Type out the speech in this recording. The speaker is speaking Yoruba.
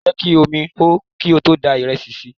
Jẹ́ kí omi hó kí o tó da ìrẹsì sí i!